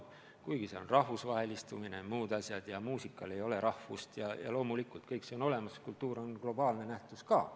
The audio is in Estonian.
Kuigi jah, on rahvusvahelistumine ja muud asjad, muusikal ei ole rahvust ja loomulikult kultuur on globaalne nähtus ka.